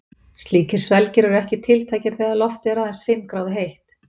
Slíkir svelgir eru ekki tiltækir þegar loftið er aðeins fimm gráðu heitt.